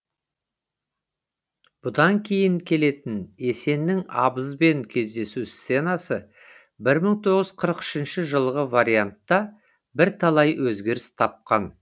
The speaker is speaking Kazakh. бұдан кейін келетін есеннің абызбен кездесу сценасы бір мың тоғыз жүз қырық үш жылғы вариантта бірталай өзгеріс тапқан